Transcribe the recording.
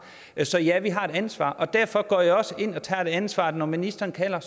så ja vi har et ansvar og derfor går jeg også ind og tager det ansvar når ministeren kalder